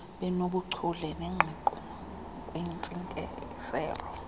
benobuchule nengqiqo kwintsingiselo